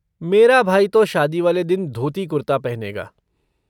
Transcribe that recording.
मेरा भाई तो शादी वाले दिन धोती कुर्ता पहनेगा।